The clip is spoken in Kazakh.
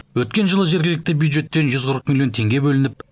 өткен жылы жергілікті бюджеттен жүз қырық миллион теңге бөлініп